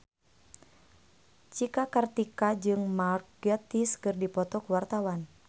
Cika Kartika jeung Mark Gatiss keur dipoto ku wartawan